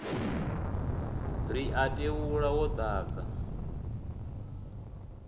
ri wa tevhula wo dadza